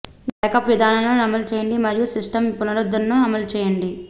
backup విధానాలను అమలు చేయండి మరియు సిస్టమ్ పునరుద్ధరణను అమలు చేయండి